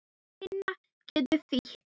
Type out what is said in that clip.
Tinna getur þýtt